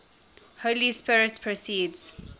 holy spirit proceeds